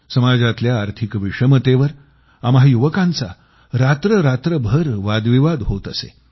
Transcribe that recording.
समाजातल्या आर्थिक विषमतेवर आम्हा युवकांचा रात्ररात्रभर वादविवाद होत असे